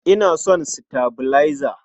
Ina son sitabilaiza.